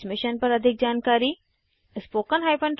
इस मिशन पर अधिक जानकारी httpspoken tutorialorgNMEICT Intro पर उपलब्ध है